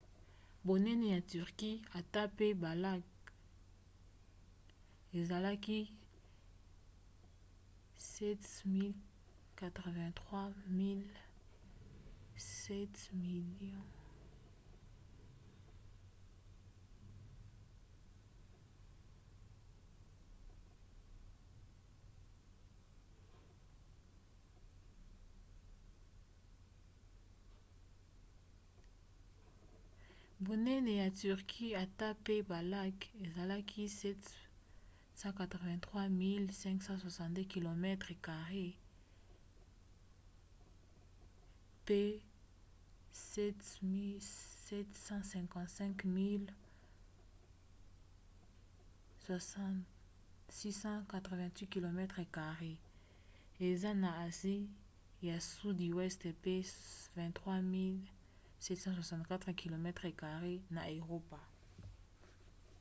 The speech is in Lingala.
bonene ya turquie ata mpe balacs ezali 783 562 kilomètres carrés 300 948 miles carrés; 755 688 kilomètres carrés 291 773 miles carrés eza na asie ya sudi weste mpe 23 764 kilomètres carrés 9174 miles carrés na eropa